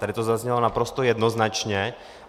Tady to zaznělo naprosto jednoznačně.